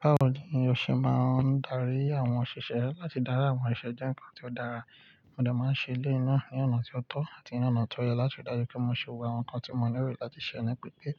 Báwo ni o ṣe máa ń darí àwọn òṣìṣẹ́, láti dári àwọn oṣiṣẹ́ jẹ́ nǹkan ti ó dára? Mo dẹ máa ń ṣe eléyìí náà ní ọ̀nà ti ó tọ́ àti ní ọ̀nà tó yẹ láti dájú pé mo ṣe gbogbo àwọn nǹkan tí mo nílò láti ṣẹ́ ní pípé,